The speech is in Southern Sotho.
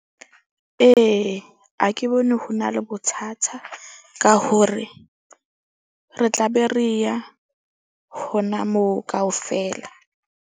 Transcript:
Ee, ha ke bone ho na le bothata ka hore re tla be re ya hona moo kaofela.